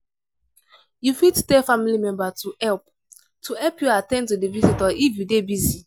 you fit tell family member to help to help you at ten d to the visitor if you dey busy